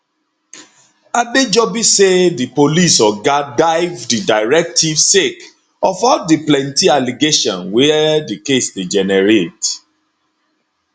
adejobi say di police oga dive di directive sake of all di plenty allegation were di case dey generate